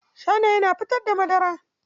Shanaye na fitar da madara.